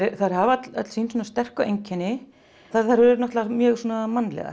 þær hafa öll sín sterku einkenni þær eru náttúrulega mjög mannlegar